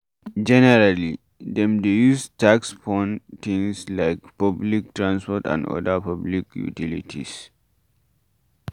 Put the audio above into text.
Generally, dem dey use tax fund things like public transport and oda public utilities